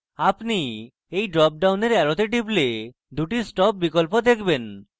আপনি যদি এই drop ডাউনের অ্যারোতে টিপুন আপনি দুটি stop বিকল্প দেখবেন